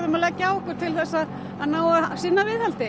að leggja á okkur til að að ná að sinna viðhaldi